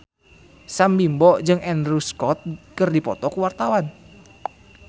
Sam Bimbo jeung Andrew Scott keur dipoto ku wartawan